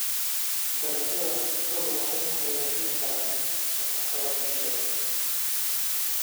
Dalagyada khudraddu waxay hagaajin karaan nafaqada bulshada.